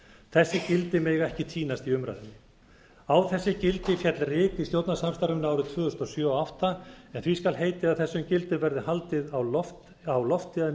þessi gildi mega ekki týnast í umræðunni á þessi gildi féll reki í stjórnarsamstarfinu á árunum tvö þúsund og sjö og tvö þúsund og átta en því skal heitið að þessum gildum verður haldið á lofti að